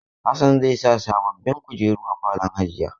Hassan zai sa sababbin kujeru a falon gidan hajiya.